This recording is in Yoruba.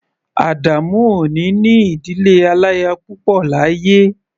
Adamu ò ní ní ìdílé aláya púpọ̀ láyé.